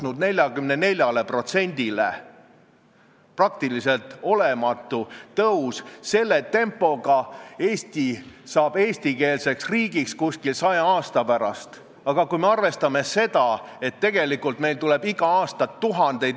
Eesti keel ja kultuur on olnud Isamaa peamine alustala ja kui tuleb selline üllatus kultuurikomisjonist, kus mu enda erakonnakaaslane ütleb, et me ei saa seda eelnõu toetada, sellepärast et meil tulevad eesti keele majad, järjekorrad on pikad ja keskmise suurusega ettevõtted, kes rikuvad seadust, võivad pankrotti minna – siis kas see on pluralism, arvamuste paljusus, on see laupkokkupõrge või mingi maailmavaateline vastuolu?